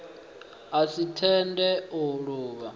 a si tende u luvha